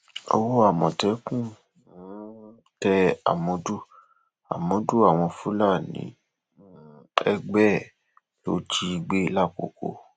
owó àmọtẹkùn um tẹ àmọdù àmọdù àwọn fúlàní um ẹgbẹ ẹ ló jí gbé làkókò